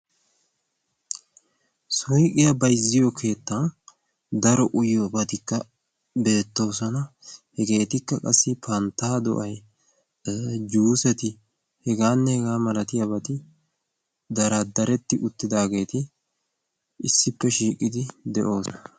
suyqqiyaa bayzziyo keettan daro uyiyoobatikka beettoosona. hegeetikka qassi panttaa do7ay juuseti hegaanne hegaa malatiyaabati daraddaretti uttidaageeti issippe shiiqqidi de7oosonna.